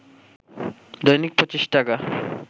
“দৈনিক ২৫ টাকা